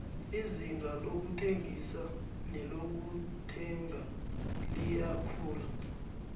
izinga lokuthengisa nelokuthenga liyakhula